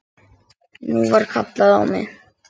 Nú var kallað á mig!